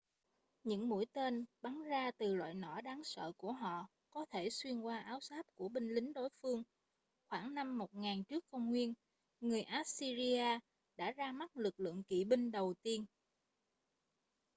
những mũi tên bắn ra từ loại nỏ đáng sợ của họ có thể xuyên qua áo giáp của binh lính đối phương khoảng năm 1000 trước công nguyên người assyria đã ra mắt lực lượng kỵ binh đầu tiên